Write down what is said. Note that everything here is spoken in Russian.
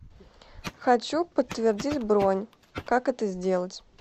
хочу подтвердить бронь как это сделать